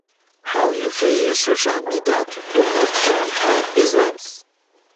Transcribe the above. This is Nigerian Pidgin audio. how you fit use social media to promote brand or business?